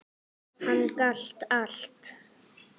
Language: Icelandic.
Hann gat allt.